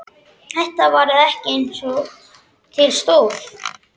Þetta varð ekki eins og til stóð.